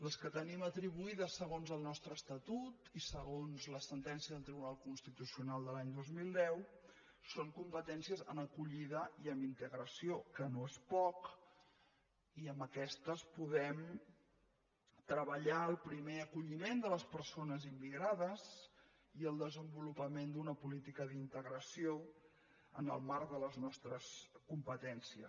les que tenim atribuïdes segons el nostre estatut i segons la sentència del tribunal constitucional de l’any dos mil deu són competències en acollida i en integració que no és poc i amb aquestes podem treballar el primer acolliment de les persones immigrades i el desenvolupament d’una política d’integració en el marc de les nostres competències